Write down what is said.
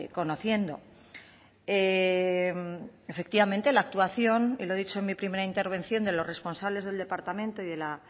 conociendo efectivamente la actuación y lo he dicho en mi primera intervención de los responsables del departamento y de la